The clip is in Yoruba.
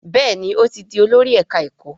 Béèni o tí dì Olórí ẹka ẹkọ.